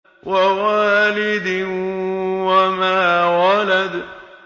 وَوَالِدٍ وَمَا وَلَدَ